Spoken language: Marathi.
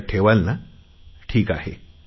लक्षात ठेवाल ना ठिक आहे